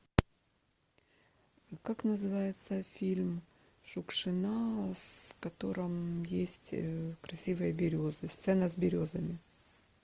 как называется фильм шукшина в котором есть красивые березы сцена с березами